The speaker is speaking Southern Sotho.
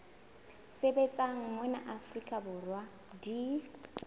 sebetsang mona afrika borwa di